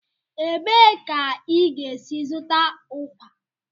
Ebee ka ị ga-esi zụta ụkwa?